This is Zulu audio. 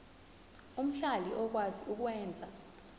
omhlali okwazi ukwenza